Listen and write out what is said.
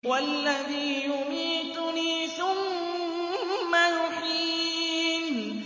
وَالَّذِي يُمِيتُنِي ثُمَّ يُحْيِينِ